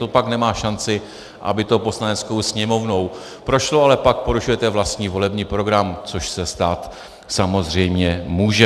To pak nemá šanci, aby to Poslaneckou sněmovnou prošlo, ale pak porušujete vlastní volební program, což se stát samozřejmě může.